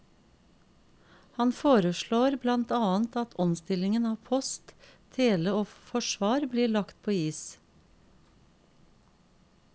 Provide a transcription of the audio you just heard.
Han foreslår blant annet at omstillingen av post, tele og forsvar blir lagt på is.